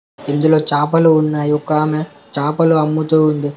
ఇందులో చాపలు ఉన్నాయి ఒకామె చాపలు అమ్ముతూ ఉంది.